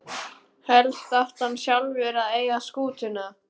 Helst átti hann sjálfur að eiga skútuna.